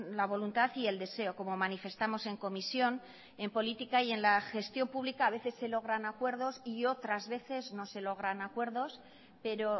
la voluntad y el deseo como manifestamos en comisión en política y en la gestión pública a veces se logran acuerdos y otras veces no se logran acuerdos pero